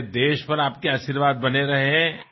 আমাৰ মা অতি সুখী হৈছিল আপোনাৰ এই মৰমৰ কাৰণে